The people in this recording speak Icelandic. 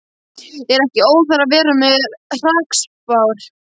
Er ekki óþarfi að vera með hrakspár?